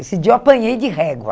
Esse dia eu apanhei de régua.